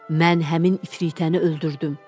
Mən həmin ifritəni öldürdüm.